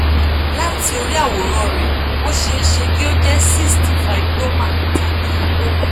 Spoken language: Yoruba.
látì orí àwòrán rẹ ó ṣeé ṣe kí ó jẹ́ cyst fibroma tàbí lipoma